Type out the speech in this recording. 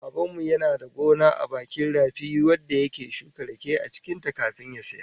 Da Baban mu yana da gona a bakin rafi wadda yake shuka rake cikin ta kafin ya sayar